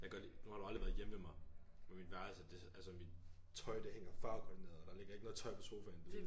Jeg kan godt lide nu har du aldrig været hjemme ved mig på mit værelse det er sådan altså mit tøj det hænger farvekoordineret og der ligger ikke noget tøj på sofaen